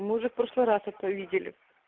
мы уже в прошлый раз это видели